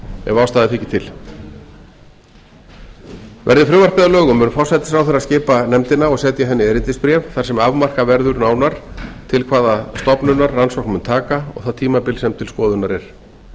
ef ástæða þykir til verði frumvarpið að lögum mun forsætisráðherra skipa nefndina og setja henni erindisbréf þar sem afmarkað verður nánar til hvaða stofnunar rannsókn mun taka og það tímabil sem til skoðunar er